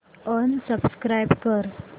unsubscribe कर